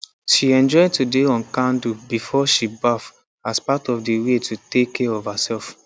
she enjoy to dey on candle before she baff as part of the way to take care of herself